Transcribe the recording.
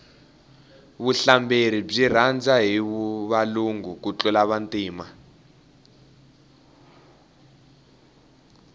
vuhlamberi byi rhandza hi valungu ku tlula vantima